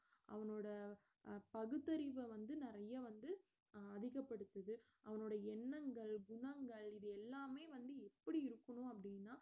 அவனோட அஹ் பகுத்தறிவை வந்து நிறைய வந்து அதிகப்படுத்துது அவனோட எண்ணங்கள் குணங்கள் இது எல்லாமே வந்து எப்படி இருக்கணும் அப்படின்னா